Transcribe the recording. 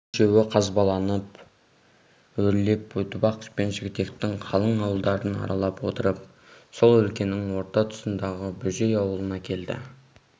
бұл үшеуі қазбаланы өрлеп көтібақ пен жігітектің қалың ауылдарын аралап отырып сол өлкенің орта тұсындағы бөжей аулына келді